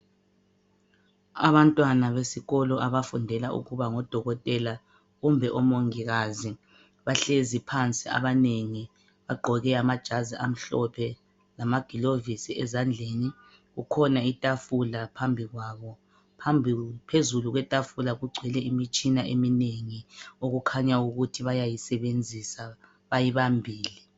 Abantwana besikolo abafundela ukuba ngodokotela kumbe omongikazi bahlezi phansi abanengi bagqoke amajazi amhlophe lamagilovisi ezandleni. Kukhona itafula phambi kwabo phezulu kwetafula kugcwele imitshina eminengi okukhanya ukuthi bayayisebenzisa bayibambile.